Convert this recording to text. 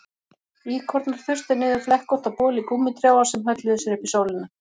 Íkornar þustu niður flekkótta boli gúmmítrjáa sem hölluðu sér upp í sólina